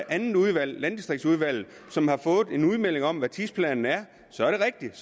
andet udvalg landdistriktsudvalget som har fået en udmelding om hvad tidsplanen er så er det rigtigt